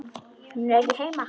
Hún er ekki heima.